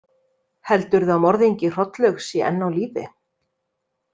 Heldurðu að morðingi Hrollaugs sé enn á lífi?